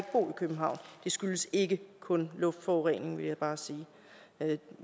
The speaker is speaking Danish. københavn det skyldes ikke kun luftforureningen vil jeg bare sige